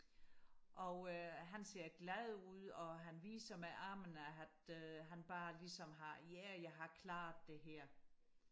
og øh han ser glad ud og han viser med armen at han bare ligesom har ja jeg har klaret det her